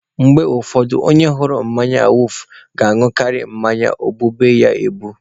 Mgbe ụfọdụ, onye hụrụ mmanya awufu na-añụkarị mmanya o gbube ya egbu.